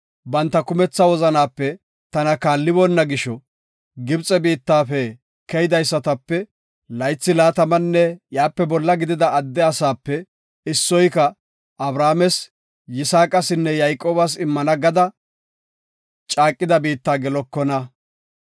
‘Banta kumetha wozanaape tana kaalliboonna gisho, Gibxe biittafe keydaysatape laythi laatamanne iyape bolla gidida adde asaape issoyka Abrahaames, Yisaaqasinne Yayqoobas immana gada caaqida biitta gelekona.